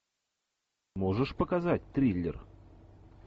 можешь показать триллер